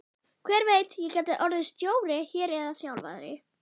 Hver veit, ég gæti orðið stjóri hér eða þjálfari?